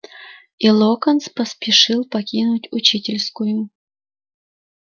и локонс поспешил покинуть учительскую